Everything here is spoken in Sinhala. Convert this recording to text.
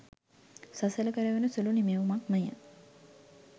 සසල කරවන සුළු නිමැවුමක්ම ය.